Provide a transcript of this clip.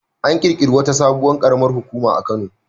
An ƙirƙiri wata sabuwar ƙaramar hukuma a Kano.